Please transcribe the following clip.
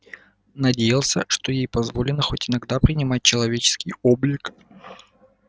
надеялся что ей позволено хоть иногда принимать человеческий облик